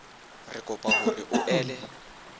re kopa hore o ele